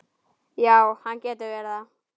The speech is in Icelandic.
Já, hann getur verið það.